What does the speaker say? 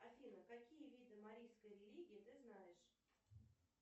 афина какие виды марийской религии ты знаешь